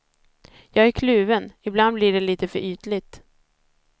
Jag är kluven, ibland blir det lite för ytligt.